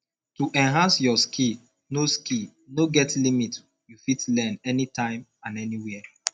to enhance your skill no skill no get limit you fit learn anytime and anywhere